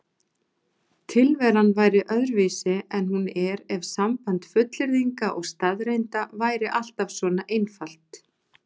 Tilveran væri öðruvísi en hún er ef samband fullyrðinga og staðreynda væri alltaf svona einfalt.